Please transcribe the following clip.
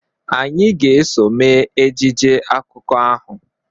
Anyị ga-eso mee ejije akụkọ ahụ